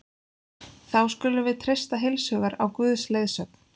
Þá skulum við treysta heilshugar á Guðs leiðsögn.